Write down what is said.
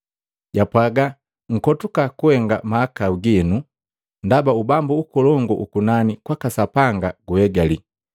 Japwaaga, “Nkotuka kuhenga mahakau gino, ndaba Ubambu ukolongu ukunani kwaka Sapanga guhegali.”